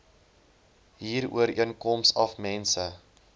huurooreenkoms af mense